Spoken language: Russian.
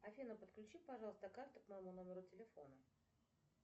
афина подключи пожалуйста карту к моему номеру телефона